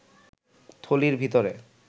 থলির ভিতরে